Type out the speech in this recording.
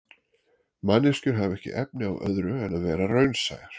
Manneskjur hafa ekki efni á öðru en vera raunsæjar.